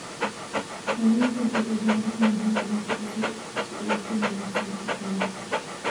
Kalluunku wuxuu u baahan yahay cunto cusub si uu si wanaagsan u koro.